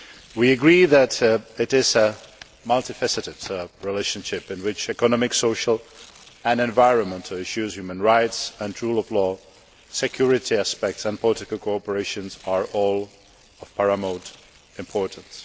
We agree that it is a multifaceted relationship in which economic, social and environmental issues, human rights and rule of law, security aspects and political cooperation are all of paramount importance.